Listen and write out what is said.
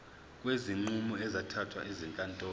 kwezinqumo ezithathwe ezinkantolo